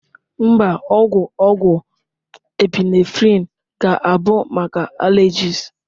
Mba, ogwu ogwu Epinephrine ga-abụ maka allergies.